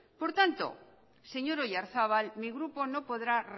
por tanto señor oyarzabal mi grupo no podrá